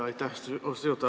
Aitäh, austatud juhataja!